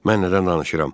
mən nədən danışıram?